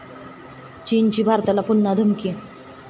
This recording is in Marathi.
चीनची भारताला पुन्हा धमकी